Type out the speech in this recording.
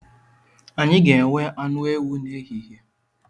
A ga-enwe anụ ewu n’ehihie